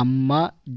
അമ്മ